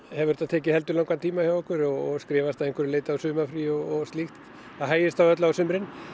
hefur þetta tekið heldur langan tíma hjá okkur og skrifast að einhverju leyti á sumarfrí og slíkt það hægist á öllu á sumrin